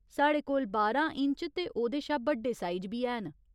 साढ़े कोल बारां इंच ते ओह्‌दे शा बड्डे साइज बी हैन।